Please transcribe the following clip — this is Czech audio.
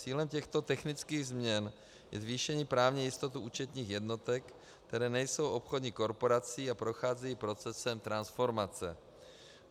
Cílem těchto technických změn je zvýšení právní jistoty účetních jednotek, které nejsou obchodní korporací a procházejí procesem transformace.